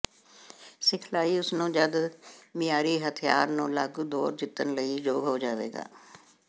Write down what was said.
ਸਿਖਲਾਈ ਉਸ ਨੂੰ ਜਦ ਮਿਆਰੀ ਹਥਿਆਰ ਨੂੰ ਲਾਗੂ ਦੌਰ ਜਿੱਤਣ ਲਈ ਯੋਗ ਹੋ ਜਾਵੇਗਾ